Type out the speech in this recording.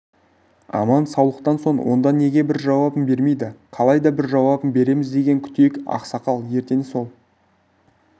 аман-саулықтан соң онда неге бір жауабын бермейді қалайда бір жауабын береміз деген күтейік ақсақал ертең сол